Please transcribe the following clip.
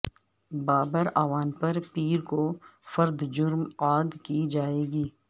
بابراعوان پر پیر کو فرد جرم عائد کی جائیگی